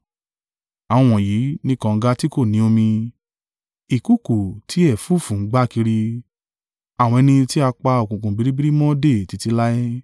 Àwọn wọ̀nyí ni kànga tí kò ní omi, ìkùùkuu tí ẹ̀fúùfù ń gbá kiri; àwọn ẹni tí a pa òkùnkùn biribiri mọ́ dè títí láé.